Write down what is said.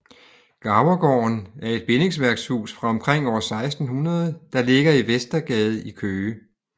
Garvergården er et bindingsværkshus fra omkring år 1600 der ligger i Vestergade i Køge